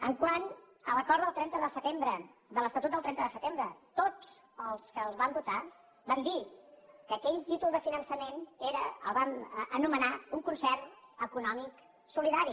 quant a l’acord del trenta de setembre de l’estatut del trenta de setembre tots els que el vam votar vam dir que aquell títol de finançament era el vam anomenar un concert econòmic solidari